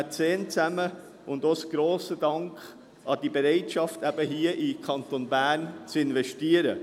Auch richte ich einen grossen Dank an den Mäzen für seine Bereitschaft, hier in den Kanton Bern zu investieren.